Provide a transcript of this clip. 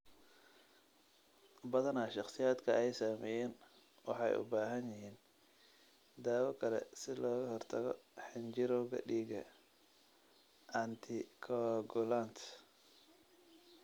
Badanaa, shakhsiyaadka ay saameeyeen waxay u baahan yihiin daawo kale si looga hortago xinjirowga dhiigga (anticoagulants).